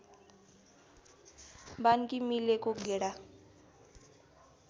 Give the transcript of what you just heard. बान्की मिलेको गेडा